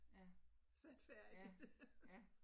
Ja, ja, ja